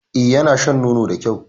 E, yana shan nono da kyau.